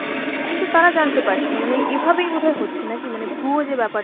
কিন্তু তারা জানতে পারছে না, মানে এভাবেই বোধ হয় হচ্ছে নাকি? ভুয়ো যে ব্যাপারটা।